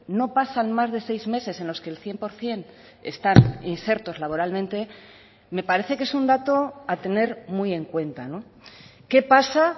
no pasan más de seis meses en los que el cien por ciento están insertos laboralmente me parece que es un dato a tener muy en cuenta qué pasa